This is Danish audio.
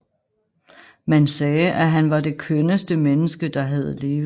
Man sagde at han var det kønneste menneske der havde levet